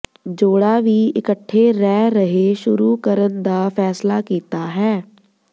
ਜੋੜਾ ਵੀ ਇਕੱਠੇ ਰਹਿ ਰਹੇ ਸ਼ੁਰੂ ਕਰਨ ਦਾ ਫੈਸਲਾ ਕੀਤਾ ਹੈ